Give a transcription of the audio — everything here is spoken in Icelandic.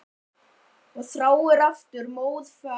Og þráir aftur móðurfaðm.